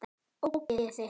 Ógeðið þitt!